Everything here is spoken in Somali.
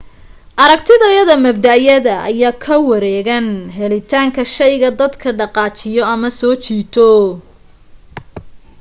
aragtiyada mabda'yada ayaa ku wareegan helitaanka shayga dadka dhaqaajiyo ama soo jiito